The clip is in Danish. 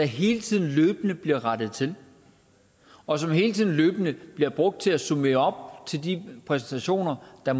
hele tiden løbende bliver rettet til og som hele tiden løbende bliver brugt til at summere til de præsentationer der